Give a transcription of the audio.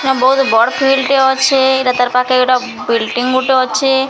ବହୁତ ବଡ ଫିଲଡ଼ ଅଛେ ଏଟା ତାର ପାଖେ ବିଲଡିଙ୍ଗ ଗୋଟେ ଅଛେ।